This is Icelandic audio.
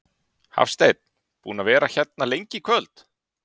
Hafsteinn: Búinn að vera hérna lengi í kvöld?